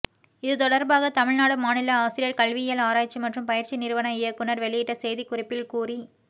இதுதொடர்பாக தமிழ்நாடு மாநில ஆசிரியர் கல்வியியல் ஆராய்ச்சி மற்றும் பயிற்சி நிறுவன இயக்குநர் வெளியிட்ட செய்திக்குறிப்பில் கூறி